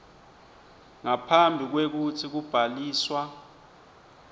ngaphambi kwekutsi kubhaliswa